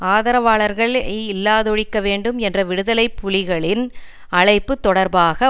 ஆதரவாளர்களை இல்லாதொழிக்க வேண்டும் என்ற விடுதலை புலிகளின் அழைப்பு தொடர்பாக